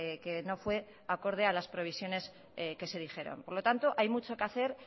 que no fue acorde a las previsiones que se dijeron por lo tanto hay mucho que hacer